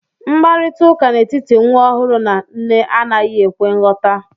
Mkparịta ụka n'etiti nwa ọhụrụ na nne anaghi ekwe nghota